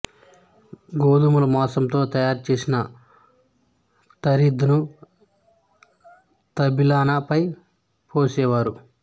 గోధుమలు మాంసంతో తయారుచేసిన తరీద్ ను తల్బినా పై పోసేవారు